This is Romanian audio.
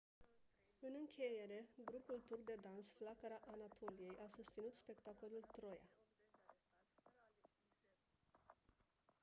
în încheiere grupul turc de dans flacăra anatoliei a susținut spectacolul «troia».